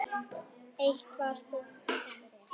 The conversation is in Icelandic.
Eitt var þokan.